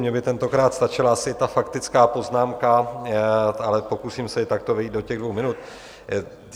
Mně by tentokrát stačila asi ta faktická poznámka, ale pokusím se i takto vejít do těch dvou minut.